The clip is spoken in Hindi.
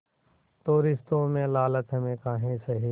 तो रिश्तों में लालच हम काहे सहे